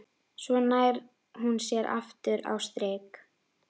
Svo nær hún sér aftur á strik.